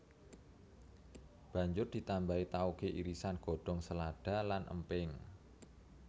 Banjur ditambahi taoge irisan godhong selada lan emping